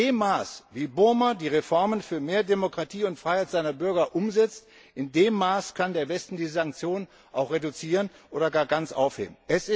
In dem Maß, in dem Burma die Reformen für mehr Demokratie und Freiheit seiner Bürger umsetzt, in dem Maß kann der Westen die Sanktionen auch reduzieren oder gar ganz aufheben.